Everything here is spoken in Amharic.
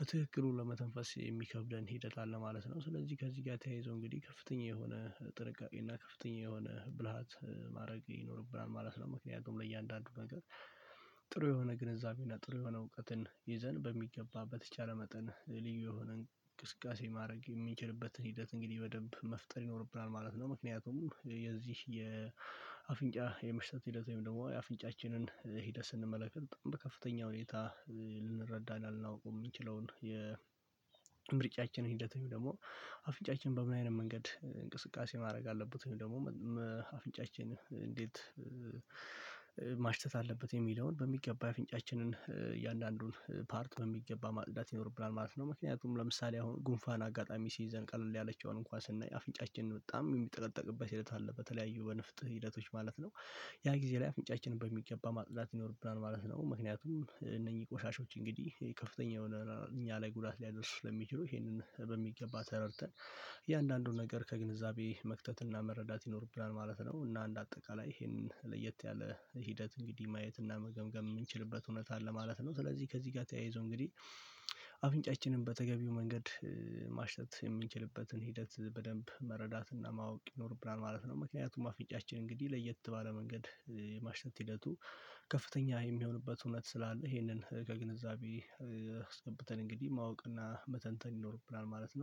በትክክሉ ለመተንፈስ የሚከብደን ሂደት አለ ማለት ነው። ስለዚህ ከዚህ ጋር ተያይዞ እንግዲህ ከፍተኛ የሆነ ጥንቃቄ እና ከፍተኛ የሆነ ብልሃት ማድረግ ይኖርብናል ማለት ነው። ምክንያቱም ለእያንዳንዱ ነገር ጥሩ የሆነ ግንዛቤው እና ጥሩ የሆነ እውቀትን ይዘን በሚገባ በተቻለ መጠን ልዩ የሆነን እንቅስቃሴ ማድረግ የምንችልበትን ሂደት እንግዲህ በደንብ መፍጠር ይኖርብናል ማለት ነው። ምክንያቱም የዚህ የአፍንጫ የመሽተት ሂደት ወይም ደግሞ የአፍንጫችንን ሂደት ስንመለከት በጣም በከፍተኛ ሁኔታ ልንረዳና ልናውቀው የምንችለውን የምርጫችንን ሂደት ወይም ደግሞ አፍንጫችን በምን አይነት መንገድ እንቅስቃሴ ማድረግ አለበት ደግሞ አፍንጫችን እንዴት ማሽተት አለበት የሚለውን በሚገባ የፊንጫችንን እያንዳንዱን ፓርት በሚገባ ማጽዳት ይኖርብናል ማለት ነው። ምክንያቱም ለምሳሌ አሁን ጉንፋን አጋጣሚ ሲይዘን ቀለል ያለችውን እንኳን ስናይ አፍንጫችን በጣም የሚጠቀጠቅበት ሂደት አለ በተለያዩ በንፍጥ ሂደቶች ማለት ነው። ያ ጊዜ ላይ አፍንጫችንን በሚገባ ማጽዳት ይኖርብናል ማለት ነው። ምክንያቱም እነኚህ ቆሻሻዎች እንግዲህ ከፍተኛ የሆነ እኛ ላይ ጉዳት ሊያደርሱት ለሚችሉ ይሄንን በሚገባ ተረድተን እያንዳንዱን ነገር ከግንዛቤ መክተትና መረዳት ይኖርብናል ማለት ነው። እና እንደ አጠቃላይ ይሄንን ለየት ያለ ሂደት እንግዲህ ማየት እና መገምገም የምንችልበት እውነት አለ ማለት ነው። ስለዚህ ከዚህ ጋር ተያይዞ እንግዲህ አብንጫችንን በተገቢው መንገድ ማሽተት የምንችልበትን ሂደት በደንብ መረዳትና ማወቅ ይኖርብናል ማለት ነው። ምክንያቱም አፍንጫችን እንግዲህ ለየት ባለ መንገድ የማሽተት ሂደቱ ከፍተኛ የሚሆንበት እውነት ስላለ ይሄንን ከግንዛቤ አስገብተን እንግዲህ ማወቅና መተንተን ይኖርብናል ማለት ነው